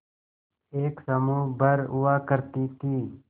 एक समूह भर हुआ करती थी